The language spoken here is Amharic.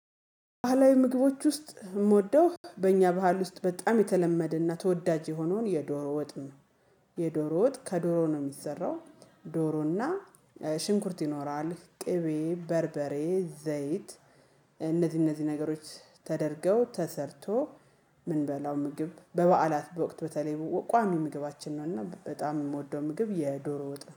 ባህላዊ ምግቦች ውስጥ የምወደው በእኛ ባህል ውስጥ በጣም የተለመደ እና ተወዳጅ የሆነውን የዶሮ ወጥ ነው። የዶሮ ወጥ ከዶሮ ነው የሚሰራው ዶሮና ሽንኩርት ይኖራል ቅቤ በርበሬ ዘይት። እነዚህ እነዚህ ነገሮች ተደርገው ተሰርቶ ምንበላው ምግብ በበዓላት በወቅት በተለይ ቋሚ ምግባችን ነው። እና በጣም የምወደው ምግብ የዶሮ ወጥ ነው